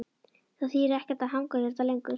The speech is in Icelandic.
Það þýðir ekkert að hanga hérna lengur.